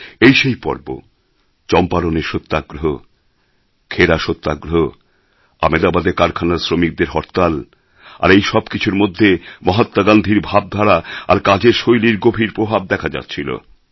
এই সেই পর্ব চম্পারণের সত্যাগ্রহ খেড়া সত্যাগ্রহ আহমেদাবাদে কারখানার শ্রমিকদের হরতাল আর এই সব কিছুর মধ্যে মহাত্মা গান্ধীর ভাবধারা আর কাজের শৈলীর গভীর প্রভাব দেখা যাচ্ছিল